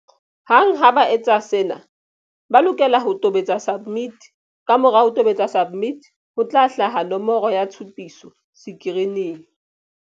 Hang ha ba entse sena, ba lokela ho tobetsa SUBMIT. Kamora ho tobetsa SUBMIT, ho tla hlaha nomoro ya tshupiso sekirining.